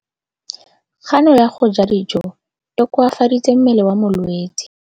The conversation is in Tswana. Kganô ya go ja dijo e koafaditse mmele wa molwetse.